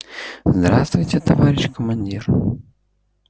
здравствуйте товарищ командир